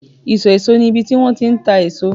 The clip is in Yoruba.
iso eso ni ibi ti won ti n ta eso